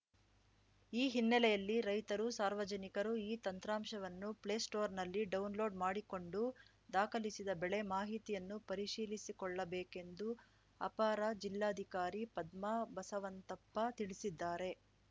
ಈ ಹಿನ್ನೆಲೆಯಲ್ಲಿ ರೈತರು ಸಾರ್ವಜನಿಕರು ಈ ತಂತ್ರಾಂಶವನ್ನು ಪ್ಲೇ ಸ್ಟೋರ್‌ನಲ್ಲಿ ಡೌನ್‌ಲೋಡ್‌ ಮಾಡಿಕೊಂಡು ದಾಖಲಿಸಿದ ಬೆಳೆ ಮಾಹಿತಿಯನ್ನು ಪರಿಶೀಲಿಸಿಕೊಳ್ಳಬೇಕೆಂದು ಅಪರ ಜಿಲ್ಲಾಧಿಕಾರಿ ಪದ್ಮಾ ಬಸವಂತಪ್ಪ ತಿಳಿಸಿದ್ದಾರೆ